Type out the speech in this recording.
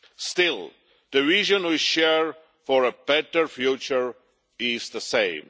Still, the region we share for a better future is the same.